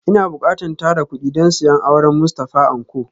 Ina bukatan tara kudi don siyan auren Mustafa Anko